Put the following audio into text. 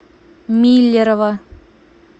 миллерово